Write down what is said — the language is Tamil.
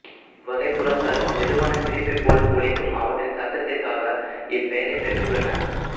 இவ்வகைப் புறாக்கள் மெதுவான சிரிப்பைப்போல ஒலிக்கும் அவற்றின் சத்ததிற்காக இப்பெயரைப் பெற்றுள்ளன